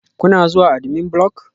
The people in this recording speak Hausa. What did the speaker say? Kuna zuwa admin block?